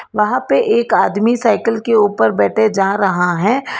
वहां पे एक आदमी साइकल के ऊपर बैठे जा रहा है।